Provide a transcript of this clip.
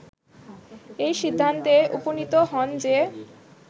এই সিদ্ধান্তে উপনীত হন যে